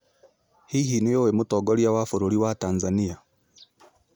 Hihi nĩ ũĩ mũtongoria wa bũrũri wa Tanzania?